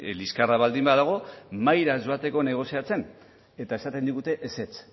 liskarra baldin badago mahaira joateko negoziatzen eta esaten digute ezetz